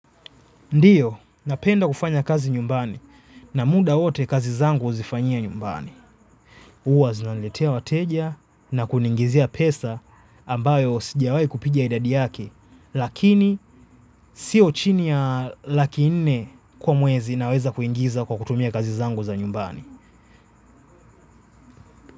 Ndiyo, napenda kufanya kazi nyumbani na muda wote kazi zangu huzifanyia nyumbani. Huwa zinaniletea wateja na kuniingizia pesa ambayo sijawai kupiga idadi yake, lakini siyo chini ya laki nne kwa mwezi naweza kuingiza kwa kutumia kazi zangu za nyumbani.